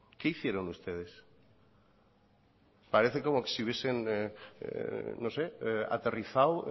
qué hicieron ustedes parece como si hubiesen no sé aterrizado